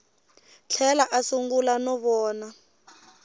tlhela a sungula no vona